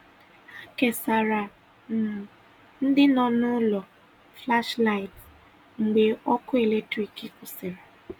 Hà kesàrà̀ um ndị nọ n’ụlọ̀ flashlight mgbe ọkụ̀ eletrik kwụsịrị̀.